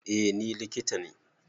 Eh ni likita ne